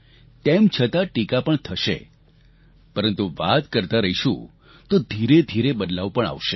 તેમ છતાં ટીકા પણ થશે પરંતુ વાત કરતાં રહીશું તો ધીરેધીરે બદલાવ પણ આવશે